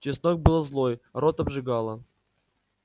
чеснок был злой рот обжигало